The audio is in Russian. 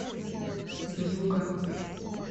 вьюга